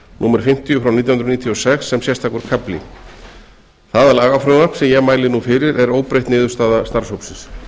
númer fimmtíu nítján hundruð níutíu og sex sem sérstakur kafli það lagafrumvarp sem ég mæli nú fyrir er óbreytt niðurstaða starfshópsins